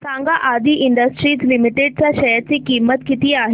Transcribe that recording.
सांगा Aadi industries limited च्या share ची किंमत किती आहे